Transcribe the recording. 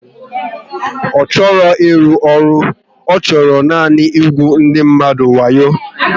Ọ chọghị ịrụ ọrụ, ọ chọrọ nanị ịgbu ndị mmadụ wayo